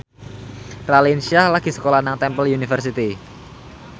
Raline Shah lagi sekolah nang Temple University